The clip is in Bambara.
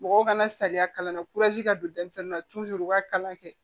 Mɔgɔw kana saliya kalan na ka don denmisɛnnin na u b'a kalan kɛ